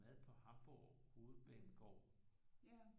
Mad på Hamborg hovedbanegård